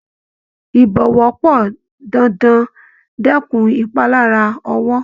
ìbọ̀wọ́ pọn dandan dẹkùn ìpalára ọwọ́..